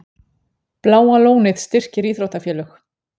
Bláa lónið styrkir íþróttafélög